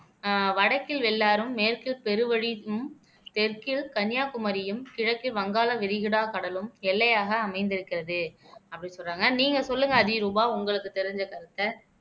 அஹ் வடக்கில் எல்லாரும் மேற்கு பெருவழிக்கும் தெற்கில் கன்னியாகுமரியும் கிழக்கு வங்காள விரிகுடா கடலும், எல்லையாக அமைந்திருக்கிறது அப்படி சொல்றாங்க நீங்க சொல்லுங்க அதிரூபா உங்களுக்கு தெரிஞ்ச கருத்தை